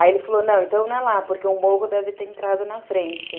Aí ele falou, não, então não é lá, porque o morro deve ter entrado na frente.